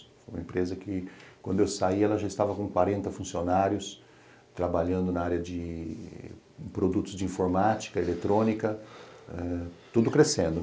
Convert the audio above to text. Foi uma empresa que, quando eu saí, ela já estava com quarenta funcionários, trabalhando na área de produtos de informática, eletrônica, tudo crescendo.